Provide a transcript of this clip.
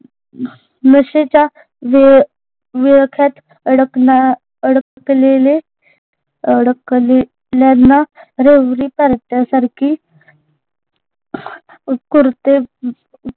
नशेच्या वेअ वेळख्यात अडकना अडकलेले अडकलेल्यांना रेवरी पार्ट्या सारखी